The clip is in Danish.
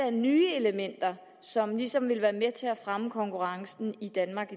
af nye elementer som ligesom vil være med til at fremme konkurrencen i danmark